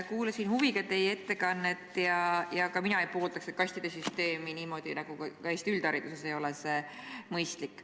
Kuulasin huviga teie ettekannet ja ka mina ei poolda seda kastide süsteemi, ka Eesti üldhariduses ei ole see mõistlik.